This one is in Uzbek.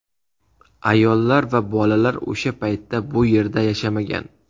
Ayollar va bolalar o‘sha paytda bu yerda yashamagan.